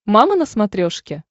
мама на смотрешке